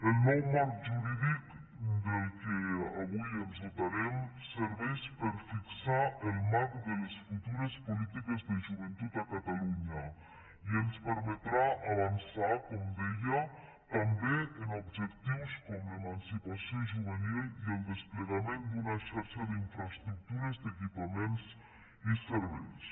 el nou marc jurídic de què avui ens dotarem serveix per fixar el marc de les futures polítiques de joventut a catalunya i ens permetrà avançar com deia també en objectius com l’emancipació juvenil i el desplegament d’una xarxa d’infraestructures d’equipaments i serveis